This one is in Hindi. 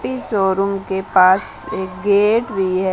इस शोरूम के पास एक गेट भी है।